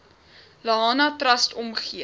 lahana trust omgee